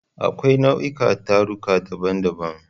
Akwai nau'ikan taruka daban-daban.